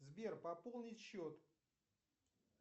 сбер пополнить счет